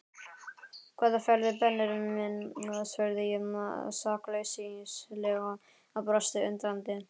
Hvaða ferðir Benni minn? spurði ég sakleysislega og brosti undrandi.